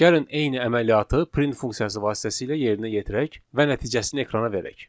Gəlin eyni əməliyyatı print funksiyası vasitəsilə yerinə yetirək və nəticəsini ekrana verək.